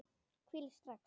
Hvílíkt stress!